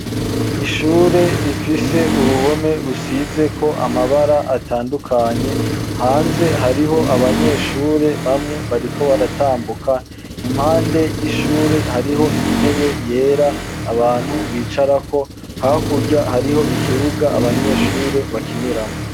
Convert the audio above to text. Ishure rifise uruhome rusizeko amabara atandukanye hanze hariho abanyeshure bamwe bariko baratambuka impande y'ishure hariho intebe yera abantu bicarako hakurya hariho ikibuga abanyeshure bakiniramwo